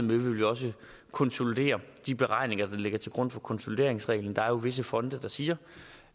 vil vi også konsolidere de beregninger der ligger til grund for konsolideringsreglen der er jo visse fonde der siger